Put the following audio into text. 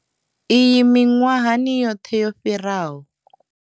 Iyi miṅwahani yoṱhe yo fhiraho.